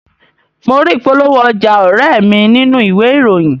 Mo rí ìpolówó ọjà ọ̀rẹ́e mi nínú ìwé ìròyìn